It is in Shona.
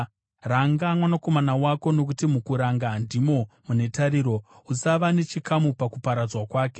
Ranga mwanakomana wako, nokuti mukuranga ndimo mune tariro; usava nechikamu pakuparadzwa kwake.